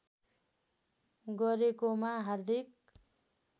गरेकोमा हार्दिक